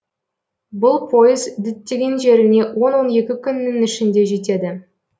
бұл пойыз діттеген жеріне он он екі күннің ішінде жетеді